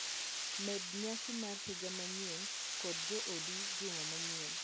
Med nyasi mar higa manyien kod joodi juma manyien